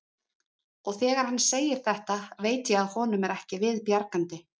Og þegar hann segir þetta veit ég að honum er ekki við bjargandi.